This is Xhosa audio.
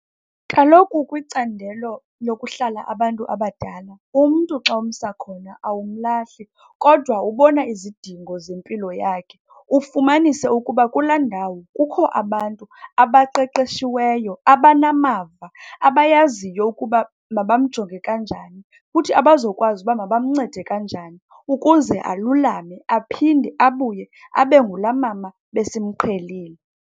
Kaloku kwicandelo lokuhlala abantu abadala, umntu xa umsa khona awumlahli kodwa ubona izidingo zempilo yakhe. Ufumanise ukuba kulaa ndawo kukho abantu abaqeqeshiweyo, abanamava, abayaziyo ukuba mabamjonge kanjani, futhi abazokwazi uba mabamncede kanjani ukuze alulame aphinde abuye abe ngulaa mama besimqhelile.